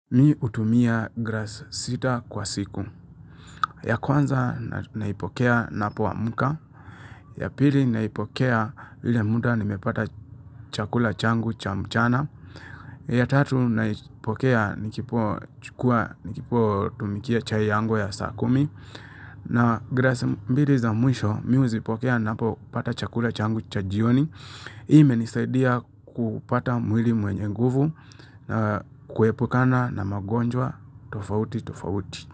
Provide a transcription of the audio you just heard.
Mi hutumia grasi sita kwa siku. Ya kwanza naipokea napo amuka. Ya pili naipokea ile muda nimepata chakula changu cha mchana. Ya tatu naipokea nikipo tumikia chai yangu ya sakumi. Na grasi mbili za mwisho mi huzipokea napo pata chakula changu cha jioni. Hii inisaidia kupata mwili mwenye nguvu na kuhepukana na magonjwa tofauti tofauti.